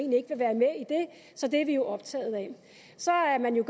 så det er vi optaget af så er man jo